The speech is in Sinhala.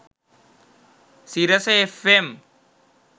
sirasa fm